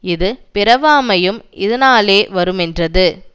இது பிறவாமையும் இதனாலே வருமென்றது